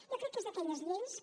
jo crec que és d’aquelles lleis que